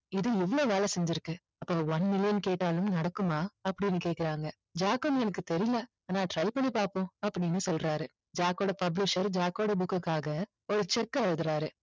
இது இவ்ளோ வேலை செஞ்சிருக்கு அப்போ one million கேட்டாலும் நடக்குமா அப்படின்னு கேக்கறாங்க ஜாக்கும் எனக்கு தெரியல ஆனா try பண்ணி பாப்போம் அப்படின்னு சொல்றாரு ஜாக்கோட publisher ஜாக்கோட book க்குகாக ஒரு cheque அ எழுதுறாரு